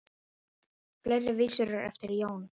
Fleiri vísur eru eftir Jón